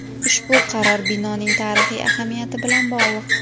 Ushbu qaror binoning tarixiy ahamiyati bilan bog‘liq.